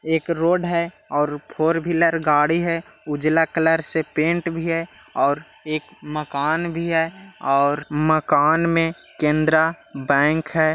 एक रोड है और फोरविलर गाड़ी है उजला कलर से पेन्ट भी है और एक मकान भी है और मकान में केन्द्रा बैंक है।